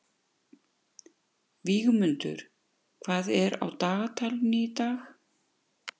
Vígmundur, hvað er á dagatalinu í dag?